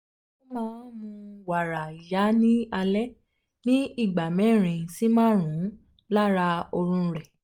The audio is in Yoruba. ó máa ń mu wàrà ìyá ní alẹ́ ní ìgbà mẹ́rin sí márùn-ún láàárín oorun rẹ̀